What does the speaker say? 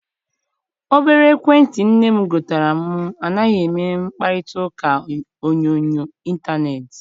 Obere ekwentị nne m gotere m anaghị eme mkparitauka onyoonyo intaneeti.